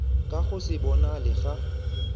ka go se bonale ga